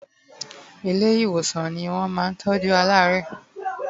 ile iwosàn in won ma ntoju alaare